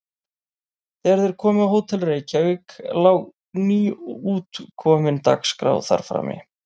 Þegar þeir komu á Hótel Reykjavík lá nýútkomin Dagskrá þar frammi.